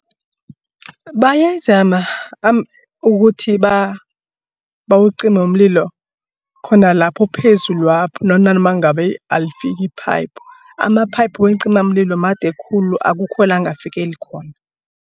Bayazama ukuthi bawucime umlilo khona lapho phezulwapho nanoma ngabe alifiki iphayiphu. Amaphayiphu weencimamlilo made khulu akukho la angafikeli khona.